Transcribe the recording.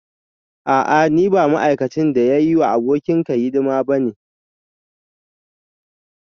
A'a ni ba ma'aikacin da ya yi wa abokanka hidima ba ne